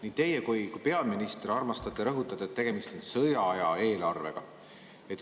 Nii teie kui ka peaminister armastate rõhutada, et tegemist on sõjaaja eelarvega.